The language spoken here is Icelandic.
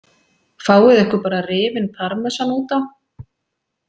Fáið ykkur bara rifinn parmesan út á.